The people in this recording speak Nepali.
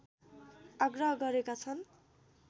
आग्रह गरेका छन्